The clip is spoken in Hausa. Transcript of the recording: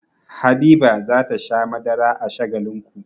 Habiba za ta sha madara a Shagalinku.